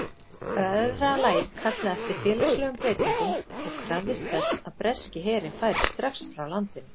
Bræðralagið kallaði eftir félagslegum breytingum og krafðist þess að breski herinn færi strax frá landinu.